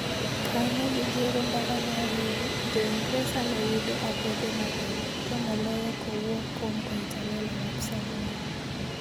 Ka ne gigero ndara mar reru, Jo-Ingresa noyudo akwede mager, to moloyo kowuok kuom Koitalel Arap Samoei.